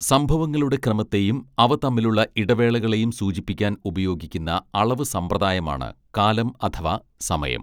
സംഭവങ്ങളുടെ ക്രമത്തെയും അവ തമ്മിലുള്ള ഇടവേളകളെയും സൂചിപ്പിക്കാൻ ഉപയോഗിക്കുന്ന അളവ് സമ്പ്രദായമാണ് കാലം അഥവാ സമയം